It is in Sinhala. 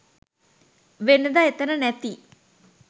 වෙනදා එතන නැති